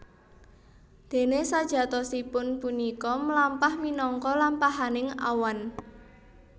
Déné sajatosipun punika mlampah minangka lampahaning awan